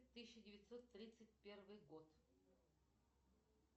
тысяча девятьсот тридцать первый год